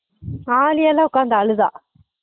ஆழியாலாம் உட்காந்து அழுதா